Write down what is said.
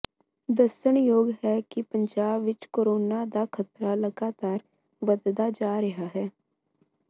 ਦੱਸਣਯੋਗ ਹੈ ਕਿ ਪੰਜਾਬ ਵਿੱਚ ਕੋਰੋਨਾ ਦਾ ਖਤਰਾ ਲਗਾਤਾਰ ਵਧਦਾ ਜਾ ਰਿਹਾ ਹੈ